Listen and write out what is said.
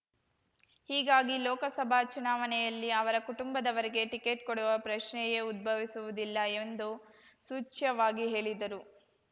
ಹೀಗಾಗಿ ಲೋಕಸಭಾ ಚುನಾವಣೆಯಲ್ಲಿ ಅವರ ಕುಟುಂಬದವರಿಗೆ ಟಿಕೆಟ್‌ ಕೊಡುವ ಪ್ರಶ್ನೆಯೇ ಉದ್ಭವಿಸುವುದಿಲ್ಲ ಎಂದು ಸೂಚ್ಯವಾಗಿ ಹೇಳಿದರು